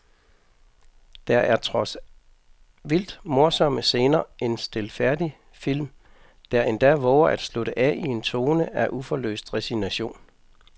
Der er trods vildt morsomme scener en stilfærdig film, der endda vover at slutte af i en tone af uforløst resignation.